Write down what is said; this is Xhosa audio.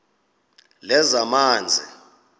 lezamanzi